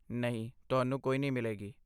ਨਹੀਂ, ਤੁਹਾਨੂੰ ਕੋਈ ਨਹੀਂ ਮਿਲੇਗੀ।